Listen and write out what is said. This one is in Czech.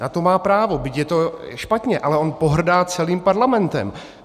Na to má právo, byť je to špatně, ale on pohrdá celým Parlamentem.